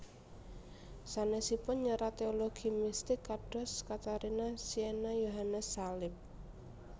Sanèsipun nyerat teologi mistik kados Katarina Siena Yohanes Salib